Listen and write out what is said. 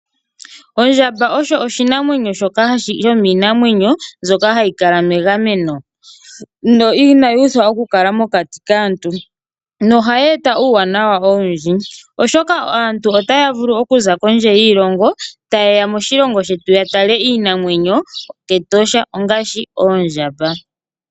Ondjamba osho oshinamwenyo shimwe shoka hashi kala megameno no inayi uthwa okukala mokati kaantu, yo ohayi eta uuwanawa owundji oshoka aantu otaya vulu okuza kondje yiilongo taye ya moshilongo shetu ya tale iinamwenyo ke Etosha ongaashi oondjamba.